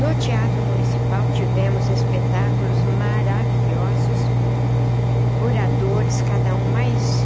No teatro municipal tivemos espetáculos maravilhosos, oradores, cada um mais